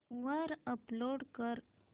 वर अपलोड कर